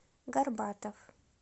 горбатов